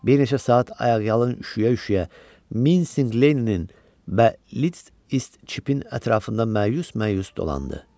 Bir neçə saat ayaqyalın, üşüyə-üşüyə Minsing Leninin Bəlitçipin ətrafında məyus-məyus dolandı.